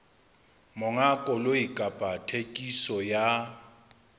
monga koloi kapa thekiso ya